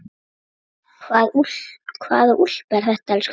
Hvaða úlpa er þetta, elskan?